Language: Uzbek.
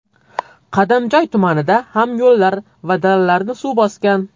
Qadamjoy tumanida ham yo‘llar va dalalarni suv bosgan.